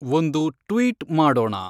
ಒಂದು ಟ್ವೀಟ್ ಮಾಡೋಣ